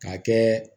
K'a kɛ